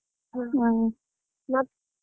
ಹ ಮತ್ತ್.